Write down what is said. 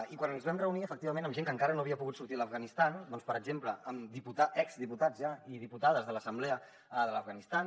i quan ens vam reunir efectivament amb gent que encara no havia pogut sortir de l’afganistan per exemple amb exdiputats ja i diputades de l’assemblea de l’afganistan